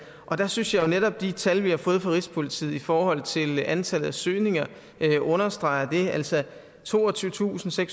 der synes jeg netop at de tal vi har fået fra rigspolitiet i forhold til antallet af søgninger understreger det altså toogtyvetusinde